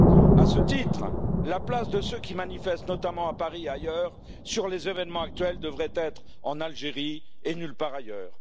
ans. À ce titre, la place de ceux qui manifestent, notamment à Paris et ailleurs sur les événements actuels, devrait être en Algérie et nulle part ailleurs.